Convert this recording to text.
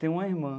Tenho uma irmã.